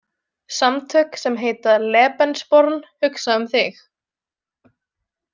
Samtök sem heita „Lebensborn“ hugsa um þig.